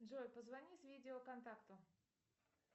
джой позвони с видео контакту